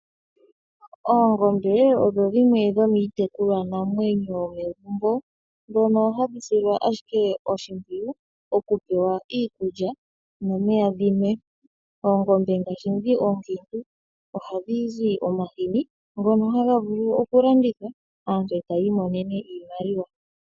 Oongombe odho dhimwe dho miitekulwanamwenyo yo megumbo, dhono hadhi silwa ashike oshimpwiyu okupewa iikulya, nomeya dhinwe. Oongombe ngaasbi dhi oonkiintu ohadhi zi omahini, ngono haga vulu okulandithwa, aantu e taya imonene iimaliwa.